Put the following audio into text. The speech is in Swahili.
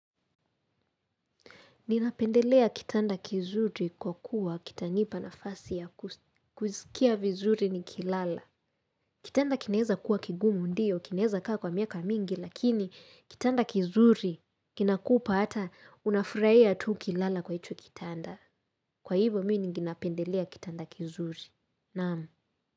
Ninapendelea kitanda kizuri kwa kuwa kitanipa nafasi ya kusikia vizuri ni kilala. Kitanda kinaeza kuwa kigumu ndio, kinaeza kaa kwa miaka mingi, lakini kitanda kizuri kinakupa ata una furaia tu ukilala kwa hicho kitanda. Kwa hivyo mimi ninapendelea kitanda kizuri. Naam.